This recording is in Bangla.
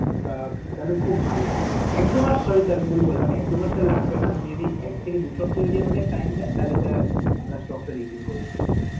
আহ তালে খুব ভালো হয়. এক দু মাস sorry sir ভুল বললাম, এক দু মাস লাগবে না, যদি এক থেকে দু সাপ্তাহ আমাদের time দেন, তাহলে sir আমরা stock টা refill করবো.